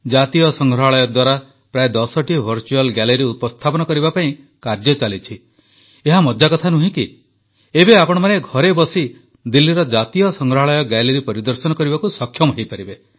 ଜାତୀୟ ସଂଗ୍ରହାଳୟ ଦ୍ୱାରା ପ୍ରାୟ ଦଶଟି ଭର୍ଚୁଆଲ ଗ୍ୟାଲେରୀ ଉପସ୍ଥାପନ କରିବା ପାଇଁ କାର୍ଯ୍ୟ ଚାଲିଛି ଏହା ମଜା କଥା ନୁହେଁ କି ଏବେ ଆପଣମାନେ ଘରେ ବସି ଦିଲ୍ଲୀର ଜାତୀୟ ସଂଗ୍ରହାଳୟ ଗ୍ୟାଲେରୀ ପରିଦର୍ଶନ କରିବାକୁ ସକ୍ଷମ ହେବେ